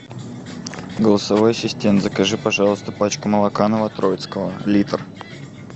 голосовой ассистент закажи пожалуйста пачку молока новотроицкого литр